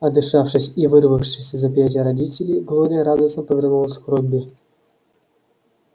отдышавшись и вырвавшись из объятий родителей глория радостно повернулась к робби